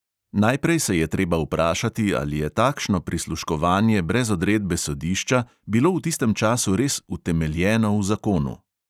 Najprej se je treba vprašati, ali je takšno prisluškovanje brez odredbe sodišča bilo v tistem času res utemeljeno v zakonu.